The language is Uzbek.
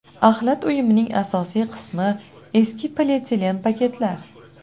Axlat uyumining asosiy qismi – eski polietilen paketlar.